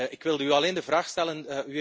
Ik wil u alleen een vraag stellen.